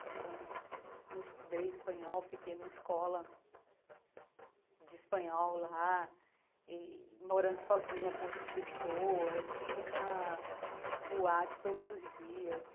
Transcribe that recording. Então, eu estudei espanhol, fiquei numa escola de espanhol lá, e morando sozinha com outras pessoas, indo para boate todos os dias.